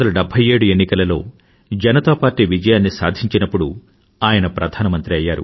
1977 ఎన్నికలలో జనతాపార్టీ విజయాన్ని సాధించినప్పుడు ఆయన ప్రధానమంత్రి అయ్యారు